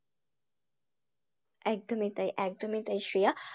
একদমই তাই একদমই তাই শ্রেয়া,